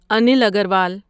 Anil Agarwal